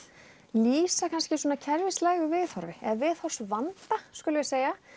lýsa kannski kerfislægu viðhorfi eða viðhorfsvanda skulum við segja